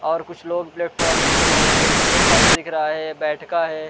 और कुछ लोग प्लेटफॉर्म में दिख रहे हैं नीचे फर्स दिख रहा है बैठका है।